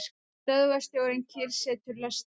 Stöðvarstjórinn kyrrsetur lestina.